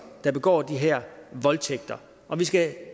der begår de her voldtægter og vi skal